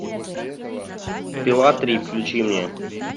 пила три включи мне